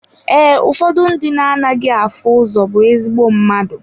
Ee, ụfọdụ ndị na anaghị afụ ụzọ bụ ezigbo mmadụ.